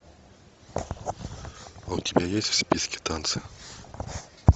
у тебя есть в списке танцы